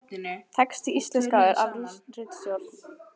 Texti íslenskaður af ritstjórn.